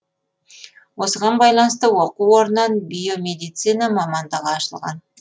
осыған байланысты оқу орыннан биомедицина мамандығы ашылған